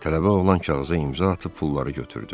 Tələbə oğlan kağıza imza atıb pulları götürdü.